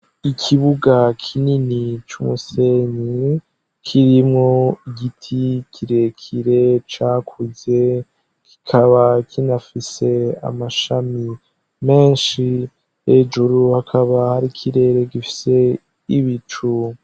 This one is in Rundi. Ikibuga kinini c' umusenyi kirimwo igiti kirekire cakuze kikaba kinafise amashami menshi, hejuru hakaba hari ikirere gifise ibicu.